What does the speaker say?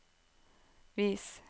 vis